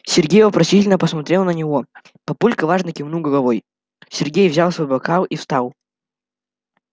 сергей вопросительно посмотрел на него папулька важно кивнул головой сергей взял свой бокал и встал